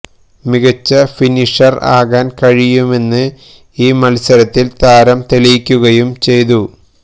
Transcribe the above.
മികച്ച ഫിനിഷര് ആകാന് കഴിയുമെന്ന് ഈ മത്സരത്തില് താരം തെളിയിക്കുകയും ചെയ്തു